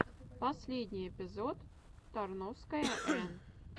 последний эпизод тарновская эн